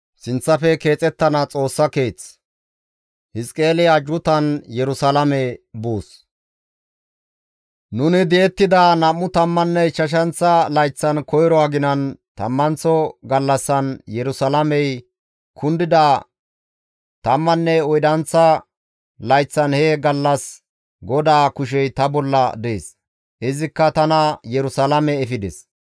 Nuni di7ettida nam7u tammanne ichchashanththa layththan, koyro aginan tammanththa gallassan, Yerusalaamey kundida tammanne oydanththa layththan he gallas GODAA kushey ta bolla dees; izikka tana Yerusalaame efides.